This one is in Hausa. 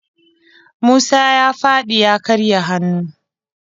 Musa ya faɗi ya karya hannu.